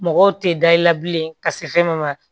Mɔgɔw tɛ da i la bilen ka se fɛn ma